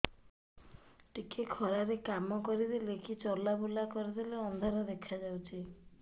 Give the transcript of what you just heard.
ଟିକେ ଖରା ରେ କାମ କରିଦେଲେ କି ଚଲବୁଲା କରିଦେଲେ ଅନ୍ଧାର ଦେଖା ହଉଚି